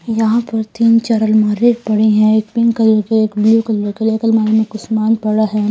यहां पर तीन चार अलमारी पड़ी हैं एक पिंक कलर के एक ब्लू कलर के और एक अलमारी में कुछ सामान पड़ा है।